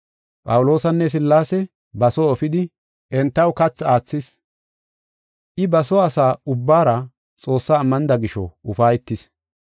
Phawuloosanne Sillaase ba soo efidi entaw kathi aathis. I ba soo asa ubbaara Xoossa ammanida gisho ufaytis.